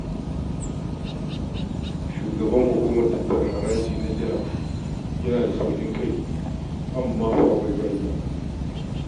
Shugaban hukumar tattara haraji na jihar yana da sauƙin kai amma fa akwai ƙa'ida!